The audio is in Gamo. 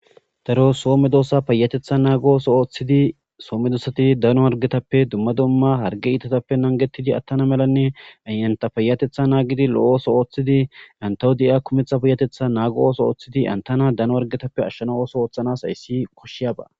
Daro soome doossa payatetha naagooso ooththidi soome dosati dano wargetappe dumma dumma harge iitatappe nangetidi attana melanne ayanta payatetha naagidi lo'ooso ooththidi antawo de'iya kumetha payatetha naago ooso ooththidi antana dano wargetappe ashshana ooso ooththanas hayssi koshshiyaba.